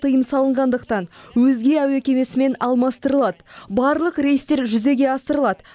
тыйым салынғандықтан өзге әуе кемесімен алмастырылады барлық рейстер жүзеге асырылады